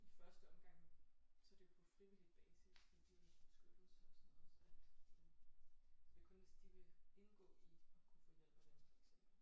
I første omgang så er det jo på frivillig basis med Dyrenes Beskyttelse og sådan noget så men det er kun hvis de vil indgå i at kunne få hjælp af dem for eksempel